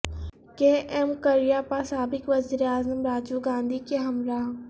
کے ایم کریاپا سابق وزیر اعظم راجیو گاندھی کے ہمراہ